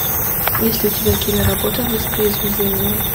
есть ли у тебя киноработа воспроизведение